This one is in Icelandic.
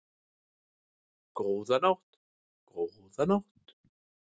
Góða nótt, góða nótt.